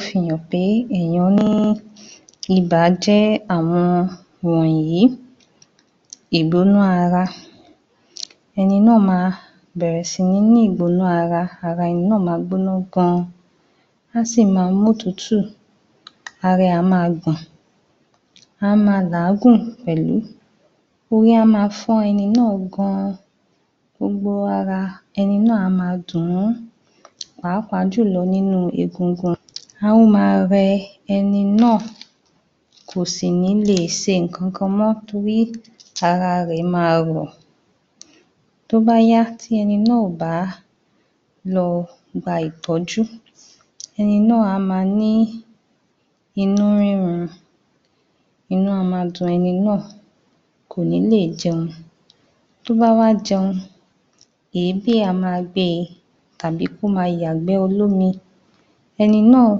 um Ibà jẹ́ àwọn wọ̀nyí ìgbóná ara, ẹni náà máa bẹ̀rẹ̀ sí ní ní ìgbóná ara, ara ẹni náà máa gbóná gan, á sì ma mótùútù ara ẹ̀ á máa gbọ̀n, a máa làágùn pẹ̀lú. Orí á máa fọ́ ẹni náà gan-an, gbogbo ara ẹni náà á máa dùn ún pàápàá jùlọ nínú egungun, á máa rẹ ẹni náà kò sì ní le ṣe nnkan kan mọ́ torí ara rẹ̀ máa rọ̀, tóbáyá ti ẹni náà ò bá lọ gba ìtọ́jú, ẹni náà á máa ní inú rírún inú a máa dun ẹni náà kò ní lè jẹun, tó wá wá jẹun èébì a máa gbé e tàbí kó máa yàgbẹ́ olómi, ẹni náà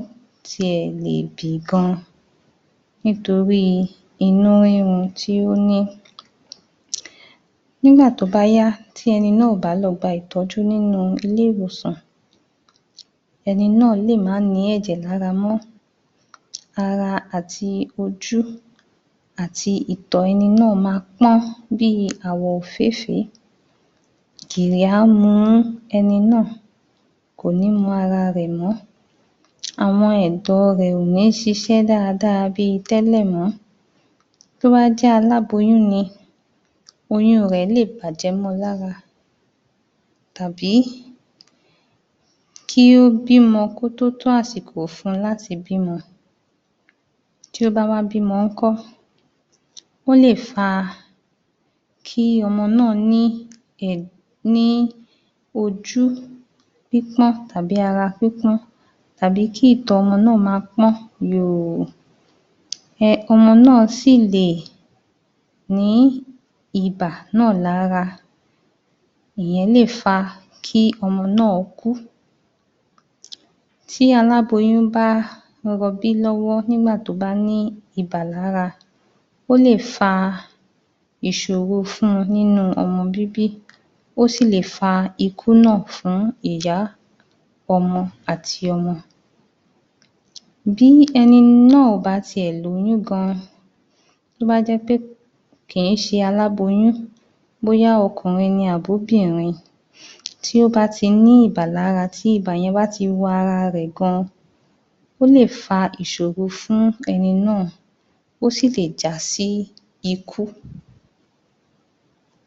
ti ẹ̀ lè bì gan nítoríi inú rírún tí ó ní, nígbà tó bá yá tí ẹni náà ò bá lọ gba ìtọ́jú nínú ilé ìwòsàn ẹni náà lè má nìí ẹ̀jẹ̀ lára mọ́. Ara ati ojú àti ìtọ̀ ẹni náà máa pọ́n bíi àwọ̀ òfééfèé, gìrì á mú ẹni náà kò ní mọ ara rẹ̀ mọ́ àwọn ẹ̀dọ̀ rẹ̀ ò ní ṣiṣẹ́ dáadáa bíi tẹ́lẹ̀ mọ́. Tó bá jẹ́ aláboyún ni, oyún--un rẹ̀ lè bàjẹ́ mọ́ ọ́n lára tàbí kí ó bímọ kó tótó àsìkò fún un láti bímọ, tí ó bá wá bímọ ń kọ́ Ó lè fa kí ọmọ náà ní um ní ojú pípọ́n tàbí ara pípọ́n tàbí kí ìtọ̀ ọmọ náà máa pọ́n yòò um ọmọ náà sì lè ní ibà náà lára, ìyẹn lè fa kí ọmọ náà kú. Tí aláboyún bá ń rọbí lọ́wọ́ nígbà tó bá ní ibà lára, ó lè fa ìṣòro fún un nínú ọmọ bíbí, ó sì lè fa ikú náà fún ìyá ọmọ àti ọmọ. Bí ẹni náà bá ti ẹ̀ lóyún gan tó bá jẹ́ pé kìn í ṣe aláboyún bóyá ọkùnrin ni abóbìnrin tí ó bá ti ní ibà lára, tí ibà yẹn bá ti wọ ara rẹ̀ gan, ó lè fa ìṣòro fún ẹni náà, ó sì lè jásí ikú.